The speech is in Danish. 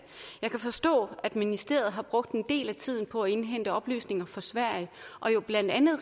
jeg kan forstå at ministeriet har brugt en del af tiden på at indhente oplysninger fra sverige og jo blandt andet